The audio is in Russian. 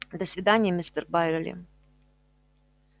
до свидания мистер байерли